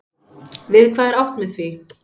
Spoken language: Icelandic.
Við hvað er átt með því?